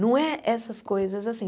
Não é essas coisas assim.